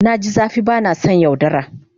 Na ji zafi ba na son yaudara.